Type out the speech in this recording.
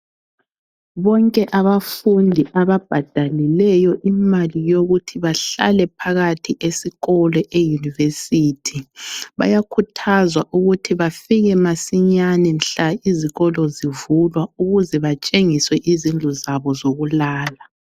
Bonke abafundi ababhadalileyo imali yokuthi bahlale phakathi esikolo eyunivesithi bayakhuthazwa ukuthi bafike masinyane mhla izikolo zivulwa ukuze batshengiswe izindlu zabo zokulala.